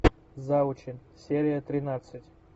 завучи серия тринадцать